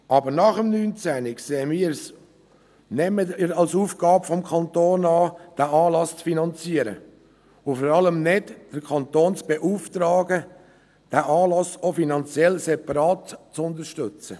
Aber nach 2019 betrachten wir es nicht mehr als Aufgabe des Kantons, diesen Anlass zu finanzieren, und vor allem nicht, den Kanton zu beauftragen, diesen Anlass auch finanziell separat zu unterstützen.